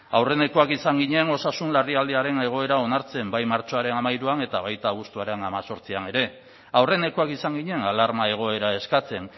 aurrenekoak izan ginen osasun larrialdiaren egoera onartzen bai martxoaren hamairuan eta baita abuztuaren hemezortzian ere aurrenekoak izan ginen alarma egoera eskatzen